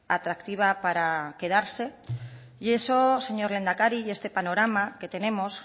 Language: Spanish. atractiva para quedarse y eso señor lehendakari y este panorama que tenemos